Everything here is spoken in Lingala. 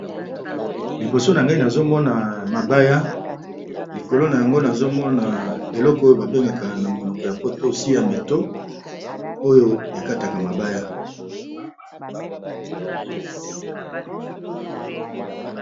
Liboso na ngai nazo mona mabaya likolo na yango nazo mona eloko oyo ba bengaka na monoko ya poto si ya meto oyo ekataka mabaya.